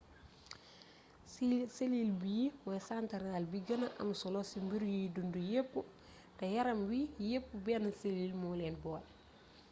selil bi mooy santaral bi gëna am solo ci mbir yuy dundu yépp te yaram wi yépp benn selil moo leen boole